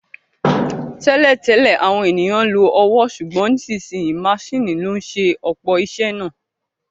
Tẹ́lẹ̀ tẹ́lẹ̀, àwọn ènìyàn lo ọwọ́, ṣùgbọ́n nísinsìnyí maṣíìnì ló ń ṣe ọ̀pọ̀ iṣẹ́ náà